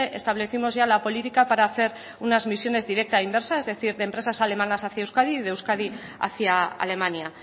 establecimos ya la política para hacer unas misiones directa e inversa es decir de empresas alemanas hacia euskadi y de euskadi hacia alemania